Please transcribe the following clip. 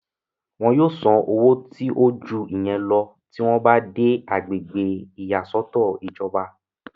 wọn yóò san owó tí ó ju ìyẹn lọ tí wọ́n bá dé agbègbè ìyàsọ́tọ̀ ìjọba